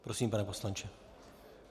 Prosím, pane poslanče.